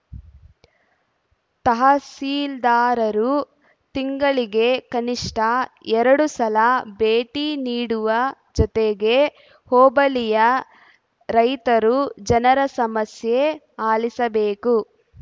ತಹಸೀಲ್ದಾರರು ತಿಂಗಳಿಗೆ ಕನಿಷ್ಟ ಎರಡು ಸಲ ಭೇಟಿ ನೀಡುವ ಜೊತೆಗೆ ಹೋಬಳಿಯ ರೈತರು ಜನರ ಸಮಸ್ಯೆ ಆಲಿಸಬೇಕು